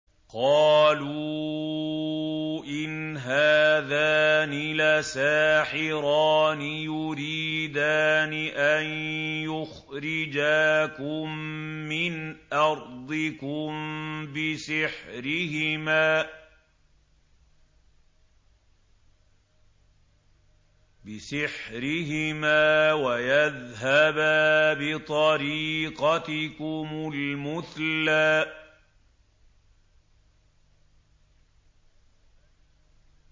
قَالُوا إِنْ هَٰذَانِ لَسَاحِرَانِ يُرِيدَانِ أَن يُخْرِجَاكُم مِّنْ أَرْضِكُم بِسِحْرِهِمَا وَيَذْهَبَا بِطَرِيقَتِكُمُ الْمُثْلَىٰ